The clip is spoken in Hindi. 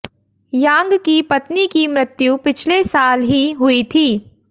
यांग की पत्नीकी मृत्यु पिछले साल ही हुई थी